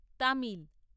Tamil